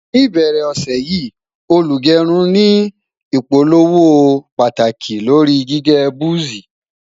ní ìbẹrẹ ọsẹ yi, olugerun ní ìpolówó pàtàkì lórí gígé buzi